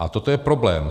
A toto je problém.